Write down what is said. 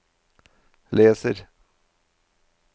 leser